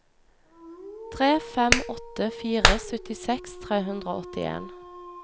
tre fem åtte fire syttiseks tre hundre og åttien